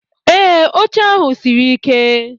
Ee, oche ahu siri ike.